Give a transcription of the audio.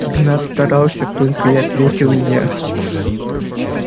игнат старался только и ответил илья